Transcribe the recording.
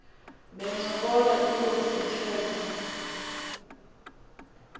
bencokola inkos ithetha